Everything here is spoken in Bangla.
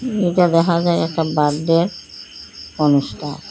এটা দেহা যায় একটা বাডডে অনুষ্ঠা--